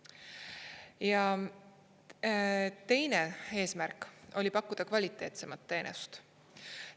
Ja teine eesmärk oli pakkuda kvaliteetsemat teenust.